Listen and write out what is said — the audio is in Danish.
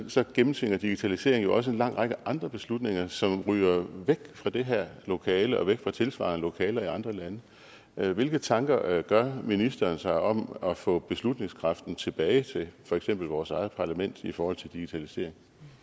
så gennemtvinger digitalisering jo også en lang række andre beslutninger som ryger væk fra det her lokale og væk fra tilsvarende lokaler i andre lande hvilke tanker gør ministeren sig om at få beslutningskraften tilbage til for eksempel vores eget parlament i forhold til digitalisering